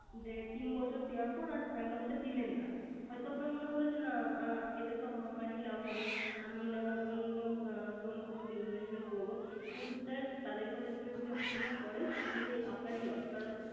যে তিন বছর দেওয়ার পর আর Amount টা দিলেন না। হয়ত আপনার মনে হলো এতে তো আমার ই লাভ হবে। আমি না হয় অন্য কোন কিছুতে Investment টা করব। তাদের কথা শুনে কিন্তু আপনি ওটা করে তাহলে আপনার ই Loss